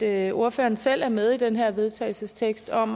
at ordføreren selv er med i den her vedtagelsestekst om